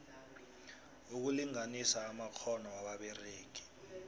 ukulinganisa amakghono wababeregi